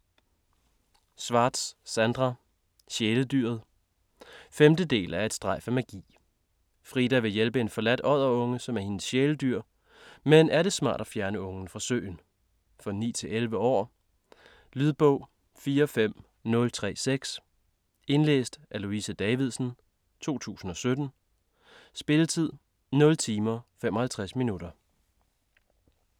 Schwartz, Sandra: Sjæledyret 5. del af Et strejf af magi. Frida vil hjælpe en forladt odderunge, som er hendes sjæledyr, men er det smart at fjerne ungen fra søen? For 9-11 år. Lydbog 45036 Indlæst af Louise Davidsen, 2017. Spilletid: 0 timer, 55 minutter.